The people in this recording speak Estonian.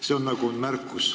See on märkus.